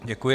Děkuji.